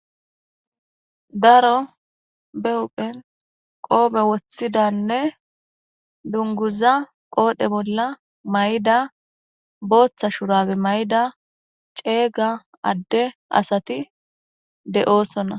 daro bewuphen qoobe woththidanne dunguza qoodhe bolla may7da booththa shurabe may7da ceeyga adde asati de7oosona